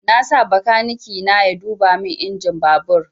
Na sa bakaniki na ya duba min injin babur